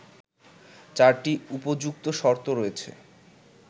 ৪টি উপযুক্ত শর্ত রয়েছে